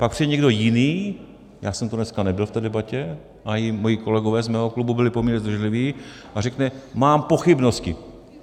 Pak přijde někdo jiný, já jsem to dneska nebyl v té debatě a i moji kolegové z mého klubu byli poměrně zdrženliví, a řekne: mám pochybnosti.